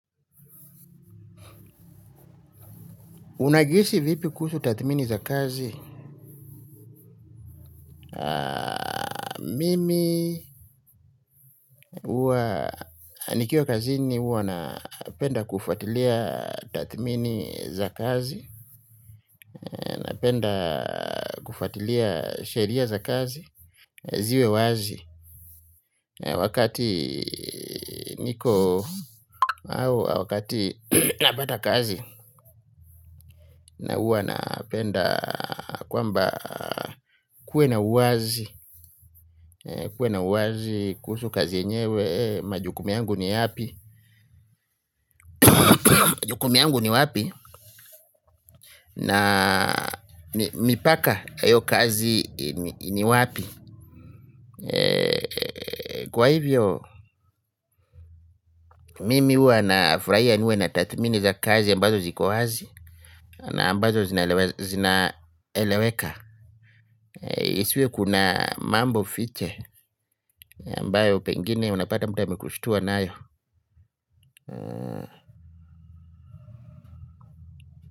Unajihisi vipi kusu tathmini za kazi. Mimi huwa nikiwa kazini huwa napenda kufuatilia tathmini za kazi. Napenda kufatilia sheria za kazi. Ziwe wazi wakati niko au wakati napata kazi na huwa napenda kwamba kuwe na uwazi kuwe na uwazi kuhusu kazi yenyewe majukumu yangu ni yapi majukumu yangu ni wapi na mipaka ya hiyo kazi ni wapi kwa hivyo mimi huwa nafurahia niwe na tathmini za kazi ambazo ziko wazi na ambazo zinaeleweka isiwe kuna mambo fiche ambayo pengine unapata mtu amekushtua nayo.